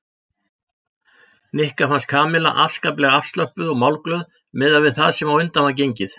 Nikka fannst Kamilla afskaplega afslöppuð og málglöð miðað við það sem á undan var gengið.